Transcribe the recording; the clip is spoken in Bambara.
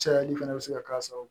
Cayali fana bɛ se ka k'a sababu ye